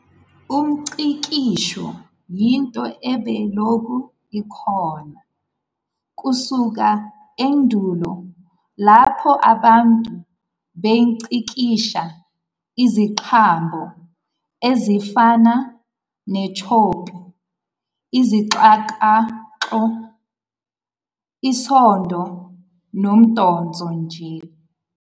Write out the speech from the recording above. Umngcikisho yinto ebilokhu ikhona kusuka endulo lapho abantu bengcikisha iziqambo ezifana netshopi, isixakaxo, isondo nomdonso njll.